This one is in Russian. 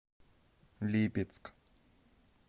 липецк